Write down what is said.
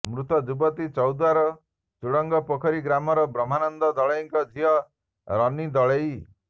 ମୃତ ଯୁବତୀ ଚୌଦ୍ବାର ଚୁଡଙ୍ଗ ପୋଖରୀ ଗ୍ରାମର ବ୍ରହ୍ମାନନ୍ଦ ଦଳେଇଙ୍କ ଝିଅ ରନୀ ଦଳେଇ